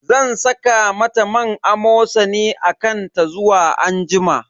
Zan saka mata man Amosani a kan ta zuwa anjima.